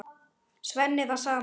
Svenni það sama.